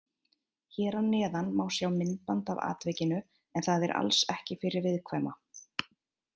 Hér að neðan má sjá myndband af atvikinu en það er alls ekki fyrir viðkvæma.